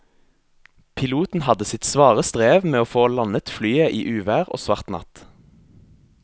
Piloten hadde sitt svare strev med å få landet flyet i uvær og svart natt.